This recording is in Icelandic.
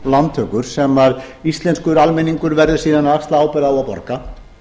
lántökur sem íslenskur almenningur verður síðan að axla ábyrgð á og borga